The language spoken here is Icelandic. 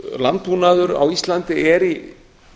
landbúnaður á íslandi er í